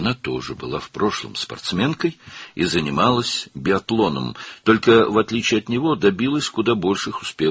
O da keçmişdə idmançı idi və biatlonla məşğul olurdu, lakin ondan fərqli olaraq, daha böyük uğurlar qazanmışdı.